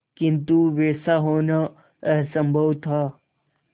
किंतु वैसा होना असंभव था